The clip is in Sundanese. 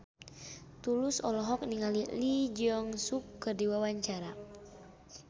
Tulus olohok ningali Lee Jeong Suk keur diwawancara